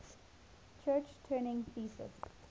church turing thesis